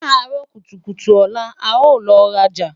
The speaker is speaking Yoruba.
laaro kutukutu ola, a n lọ raja